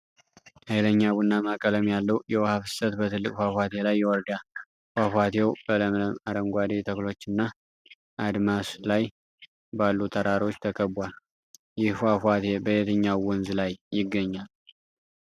ኃይለኛ ቡናማ ቀለም ያለው የውሃ ፍሰት በትልቅ ፏፏቴ ላይ ይወርዳል። ፏፏቴው በለምለም አረንጓዴ ተክሎችና አድማስ ላይ ባሉ ተራሮች ተከብቧል። ይህ ፏፏቴ በየትኛው ወንዝ ላይ ይገኛል?